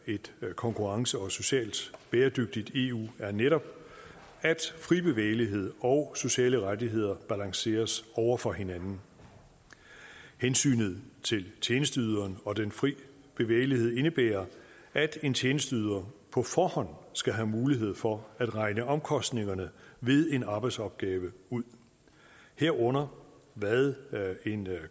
et konkurrencedygtigt og socialt bæredygtigt eu er netop at fri bevægelighed og sociale rettigheder balanceres over for hinanden hensynet til tjenesteyderen og den fri bevægelighed indebærer at en tjenesteyder på forhånd skal have mulighed for at regne omkostningerne ved en arbejdsopgave ud herunder hvad en